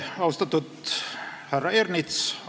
Austatud härra Ernits!